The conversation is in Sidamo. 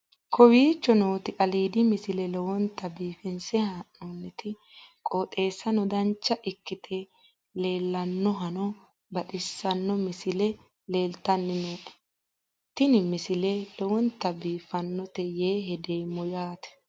kowicho nooti aliidi misile lowonta biifinse haa'noonniti qooxeessano dancha ikkite la'annohano baxissanno misile leeltanni nooe ini misile lowonta biifffinnote yee hedeemmo yaate